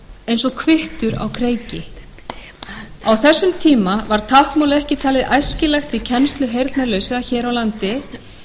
eins og kvittur á kreiki á þessum tíma var táknmál ekki talið æskilegt í kennslu heyrnarlausra hér á landi